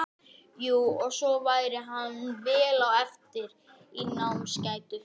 Kristín: Stóðst það væntingar?